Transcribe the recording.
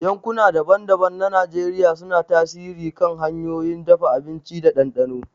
Yankuna daban-daban na Najeriya suna tasiri kan hanyoyin dafa abinci da dandano.